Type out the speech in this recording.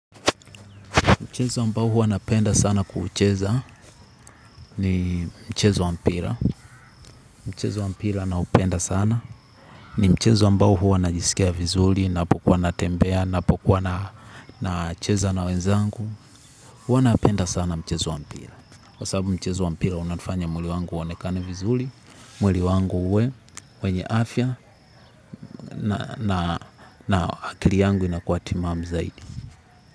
Mchezo ambao huwa napenda sana kuucheza ni mchezo wa mpira. Mchezo wa mpira naupenda sana. Ni mchezo ambao huwa najisikia vizuri, napokuwa natembea, napokuwa nacheza na wenzangu. Huwa napenda sana mchezo wa mpira. Kwa sababu mchezo wa mpira unaufanya mwili wangu uonekane vizuri, mwili wangu uwe, wenye afya, na akili yangu inakuwa timamu zaidi.